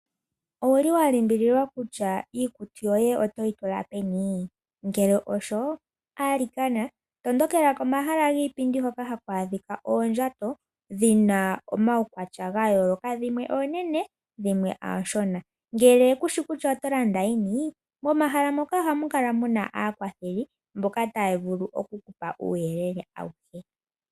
Owulì wa limbililwa kutya iikutu yoye otoyi tula peni ngele osho, tondokela komahala giipindi hoka haku adhika oondjato dhina omaukwatya ga yooloka dhimwe oonene dhimwe ooshona. Ngele kushi kutya oto landa yini momahala moka ohamu kala muna aakwatheli taya vulu okukupa uuyelele.